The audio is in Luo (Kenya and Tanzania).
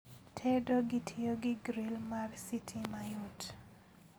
Tedo kitiyo gi gril mar sitima yot